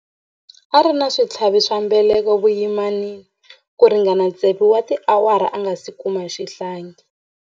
A ri na switlhavi swa mbeleko vuyimani ku ringana tsevu wa tiawara a nga si kuma xihlangi.